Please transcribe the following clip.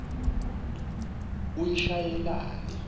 uyishayelani